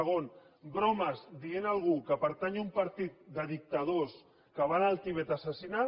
segon bromes dient quelcom que pertany a un partit de dictadors que van al tibet a assassinar